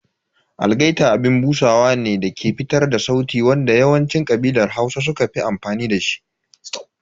Algaita abin busawa ne dake fitar da sauti wanda yawancin ƙabilar Hausa suka fi amfani da shi.